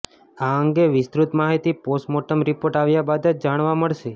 આ અંગે વિસ્તૃત માહિતી પોસ્ટમોર્ટમ રિપોર્ટ આવ્યા બાદ જ જાણવા મળશે